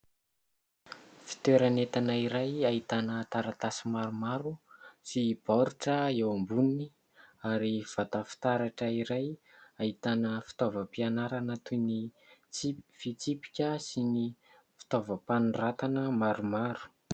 Fitoerana entana iray ahitana taratasy maromaro sy baoritra eo amboniny ary vata fitaratra iray ahitana fitaovam-pianarana toy ny : fitsipika sy ny fitaovam-panoratana maromaro.